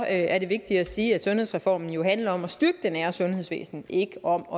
er det vigtigt at sige at sundhedsreformen jo handler om at styrke det nære sundhedsvæsen ikke om